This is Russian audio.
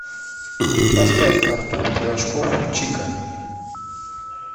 поставь артур пирожков чика